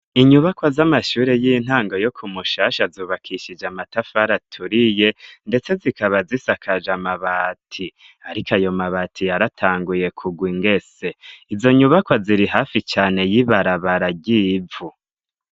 Inyubakwa z'amashuri y'intango yo ku mushasha zubakishije amatafar' aturiye ndetse zikaba zisakaj' amabati ariko ayo mabati yaratanguye kugw ingese, izo nyubakwa ziri hafi cane y'ibarabara ry'ivu.